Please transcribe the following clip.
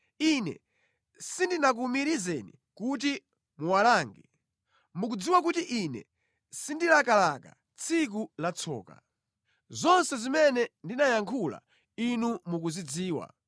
Ine sindinakuwumirizeni kuti muwalange. Mukudziwa kuti ine sindilakalaka tsiku la tsoka. Zonse zimene ndinayankhula Inu mukuzidziwa.